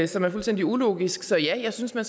som er fuldstændig ulogisk så ja jeg synes man